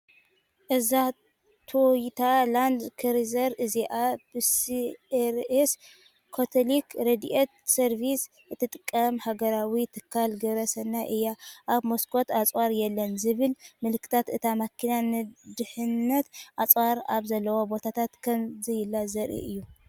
እዛ ቶዮታ ላንድ ክሩዘር እዚኣ ብሲአርኤስ (ካቶሊክ ረድኤት ሰርቪስ) እትጥቀም ኣህጉራዊ ትካል ግብረ ሰናይ እያ። ኣብ መስኰት "ኣጽዋር የለን" ዝብል ምልክት እታ መኪና ንድሕንነት ኣፅዋር ኣብ ዘለዎ ቦታታት ከም ዘየላ ዜርኢ እዩ።